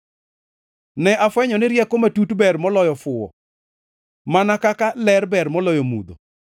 Ne afwenyo ni rieko matut ber moloyo fuwo, mana kaka ler ber moloyo mudho.